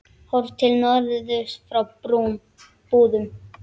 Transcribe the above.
Horft til norðurs frá Búðum.